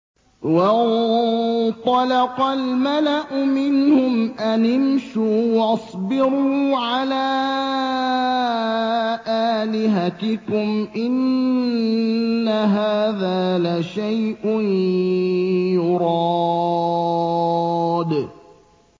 وَانطَلَقَ الْمَلَأُ مِنْهُمْ أَنِ امْشُوا وَاصْبِرُوا عَلَىٰ آلِهَتِكُمْ ۖ إِنَّ هَٰذَا لَشَيْءٌ يُرَادُ